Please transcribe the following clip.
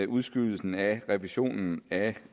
udskydelsen af revisionen af